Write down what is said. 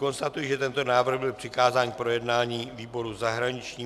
Konstatuji, že tento návrh byl přikázán k projednání výboru zahraničnímu.